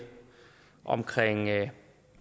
om